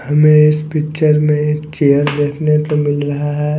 हमे इस पिक्चर में एक चेयर देखने को मिल रहा है।